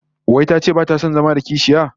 Wai tace bata son zama da kishiya?